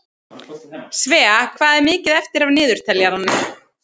Svea, hvað er mikið eftir af niðurteljaranum?